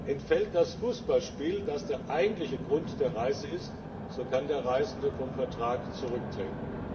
Entfällt das Fußballspiel, das der eigentliche Grund der Reise ist, so kann der Reisende vom Vertrag zurücktreten.